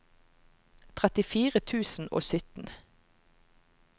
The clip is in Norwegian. trettifire tusen og sytten